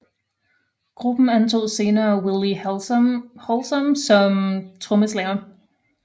Gruppen antog senere Willie Hallsom trommeslager